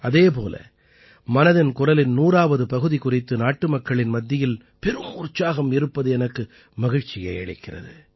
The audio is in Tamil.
அதே போல மனதின் குரலின் நூறாவது பகுதி குறித்து நாட்டுமக்களின் மத்தியில் பெரும் உற்சாகம் இருப்பது எனக்கும் மகிழ்ச்சியை அளிக்கிறது